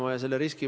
Aitäh!